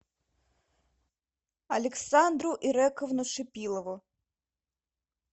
александру ирековну шипилову